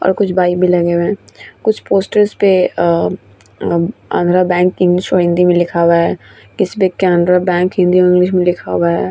और कुछ बाइक भी लगे हुए है कुछ पोस्टर पे अ अब आंध्र बैंक इंग्लिश मैं और हिंदी मै लिखा हुआ है किसपे केनरा बैंक हिंदी और इंग्लिश में लिखा हुआ है।